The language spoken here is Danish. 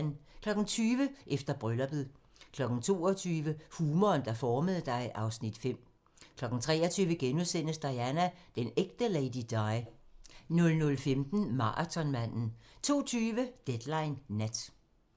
20:00: Efter brylluppet 22:00: Humoren, der formede dig (Afs. 5) 23:00: Diana - den ægte Lady Di * 00:15: Marathonmanden 02:20: Deadline Nat